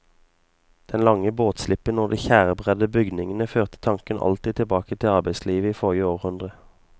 Den lange båtslippen og de tjærebredde bygningene førte tanken alltid tilbake til arbeidslivet i forrige århundre.